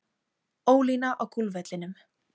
Ólína á golfvellinum.